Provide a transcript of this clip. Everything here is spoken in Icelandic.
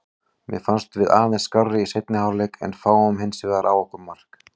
Mér fannst við aðeins skárri í seinni hálfleik en fáum hinsvegar á okkur mark.